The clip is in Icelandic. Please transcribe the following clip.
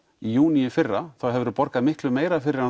í júní í fyrra þá hefurðu borgað miklu meira fyrir hann